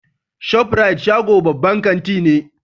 Shof rite shago babban kanti ne.